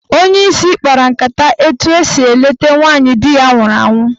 Onyeisi kpara nkata etu a ga-esi leta nwaanyị di ya nwụrụ anwụ.